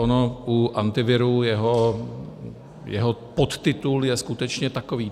Ono u Antiviru jeho podtitul je skutečně takový.